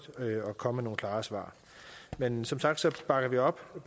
komme med nogle klare svar men som sagt bakker vi op og